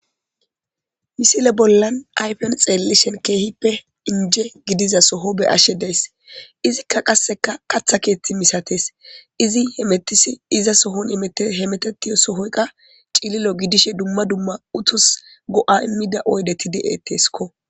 misile bollan ayfen xeellishen keehippe inje gidiza soho be ashe deys izikka qasseka katha keeththi misates izi he metisi iza sohon he metetiyo sohoyka cililo gidishe dumma dumma utus go7a immida oydeti de7etteskko